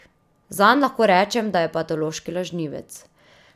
Zanj lahko rečem, da je patološki lažnivec.